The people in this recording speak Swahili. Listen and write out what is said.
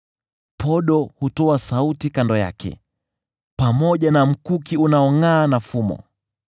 Podo hutoa sauti kando yake, pamoja na mkuki unaongʼaa na fumo.